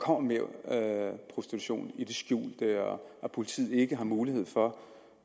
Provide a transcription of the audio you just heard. kommer mere prostitution i det skjulte og at politiet ikke har mulighed for